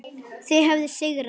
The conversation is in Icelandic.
Þau höfðu sigrað.